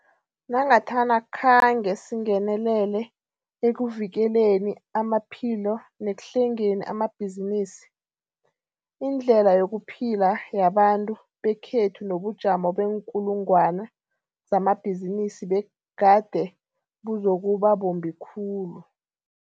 Nangathana khange singenelele ekuvikeleni amaphilo nekuhlengeni amabhizinisi, indlela yokuphila yabantu bekhethu nobujamo beenkulungwana zamabhizinisi begade buzokuba bumbi khulu.